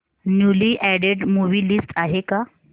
newly added movie list आहे का